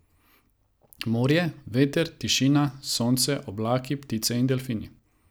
Morje, veter, tišina, sonce, oblaki, ptice in delfini.